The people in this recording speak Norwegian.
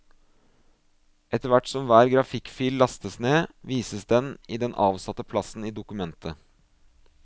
Etterhvert som hver grafikkfil lastes ned, vises den i den avsatte plassen i dokumentet.